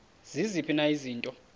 ziziphi na izinto